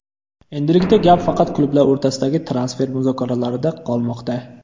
Endilikda gap faqat klublar o‘rtasidagi transfer muzokaralarida qolmoqda.